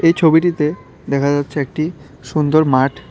এই ছবিটিতে দেখা যাচ্ছে একটি সুন্দর মাঠ ।